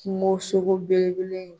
Kungosogo belebele in